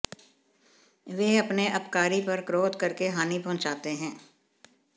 वे अपने अपकारी पर क्रोध करके हानि पहुंचाते हैं